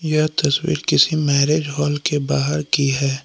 यह तस्वीर किसी मैरेज हॉल की बाहर की है।